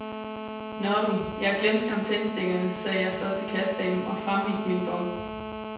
Nå du, jeg glemte skam tændstikkerne, sagde jeg så til kassedamen og fremviste min bon.